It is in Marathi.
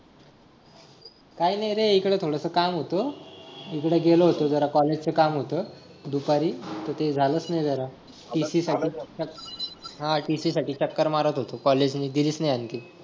काय नाही रे एक ला थोडस काम होत इकडे गेलो होतो जरा college च काम होत दुपारी ते ते झालंच नाही जरा TC साठी हा TC साठी चक्कर मारत होतो College ने दिलीच नाही आणखी